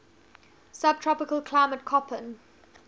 subtropical climate koppen